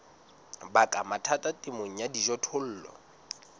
baka mathata temong ya dijothollo